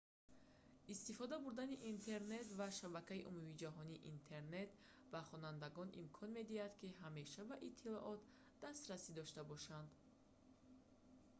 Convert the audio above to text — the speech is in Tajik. истифода бурдани интернет ва шабакаи умумиҷаҳонии интернет ба хонандагон имкон медиҳад ки ҳамеша ба иттилоот дастрасӣ дошта бошанд